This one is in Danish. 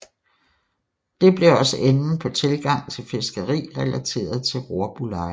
Det blev også enden på tilgang til fiskeri relateret til rorbuleje